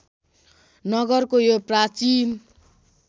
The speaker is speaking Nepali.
नगरको यो प्राचीन